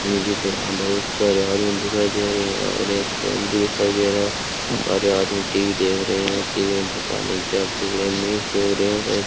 मुझे तो यहां बहुत सारे आदमी दिखाई दे रहे हैं और एक फैन भी दिखाई दे रहा है सारे आदमी टी_वी देख रहे हैं टी_वी में पता नहीं क्या मैच देख रहे हैं शायद।